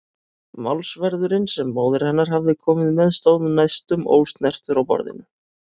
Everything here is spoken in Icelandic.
Málsverðurinn sem móðir hennar hafði komið með stóð næstum ósnertur á borðinu.